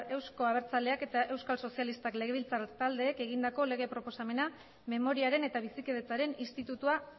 euzko abertzaleak eta euskal sozialistak legebiltzar taldeek egindako lege proposamena memoriaren eta bizikidetzaren institutua